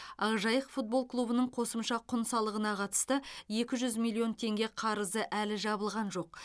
ақжайық футбол клубының қосымша құн салығына қатысты екі жүз миллион теңге қарызы әлі жабылған жоқ